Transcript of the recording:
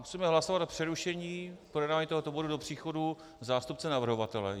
Musíme hlasovat o přerušení projednávání tohoto bodu do příchodu zástupce navrhovatele.